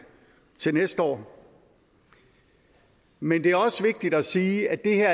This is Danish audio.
til næste år men det er også vigtigt at sige at det her